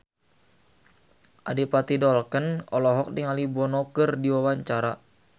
Adipati Dolken olohok ningali Bono keur diwawancara